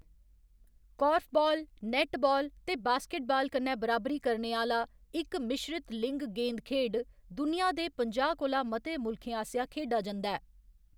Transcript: Korfball, netball ते basketball कन्नै बराबरी आह्‌‌‌ला इक मिश्रत लिंग गेंद खेढ, दुनिया दे पंजाह्‌ कोला मते मुल्खें आसेआ खेढा जंदा ऐ।